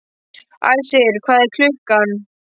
Æsir, hvað er klukkan?